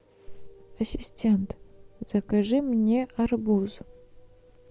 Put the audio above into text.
ассистент закажи мне арбуз